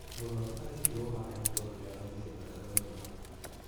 Mũrwarũ arekĩrwo maĩ nĩ tondũ nĩaraũrire thakame mũno